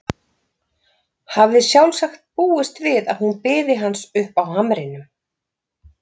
Hafði sjálfsagt búist við að hún biði hans uppi á hamrinum.